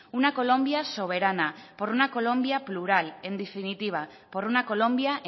una colombia soberana por una colombia plural en definitiva por una colombia